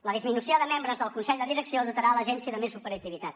la disminució de membres del consell de direcció dotarà l’agència de més operativitat